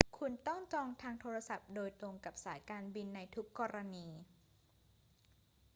คุณต้องจองทางโทรศัพท์โดยตรงกับสายการบินในทุกกรณี